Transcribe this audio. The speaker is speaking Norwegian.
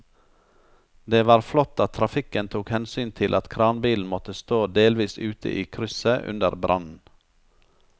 Det var flott at trafikken tok hensyn til at kranbilen måtte stå delvis ute i krysset under brannen.